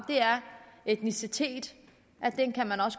etnicitet